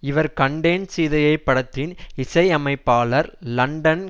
இவர் கண்டேன் சீதையை படத்தின் இசையமைப்பாளர் லண்டன்